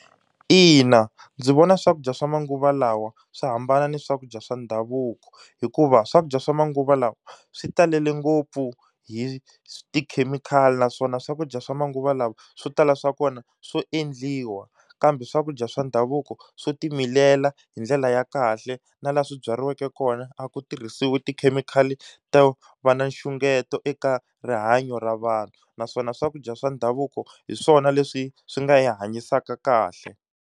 Ina, ndzi vona swakudya swa manguva lawa swi hambana na swakudya swa ndhavuko, hikuva swakudya swa manguva lawa swi talele ngopfu hi tikhemikhali naswona swakudya swa manguva lawa swo tala swa kona swo endliwa. Kambe swakudya swa ndhavuko swo timilela hi ndlela ya kahle na laha swi byariweke kona a ku tirhisiwi tikhemikhali to va na nxungeto eka rihanyo ra vanhu. Naswona swakudya swa ndhavuko hi swona leswi swi nga hi hanyisaka kahle.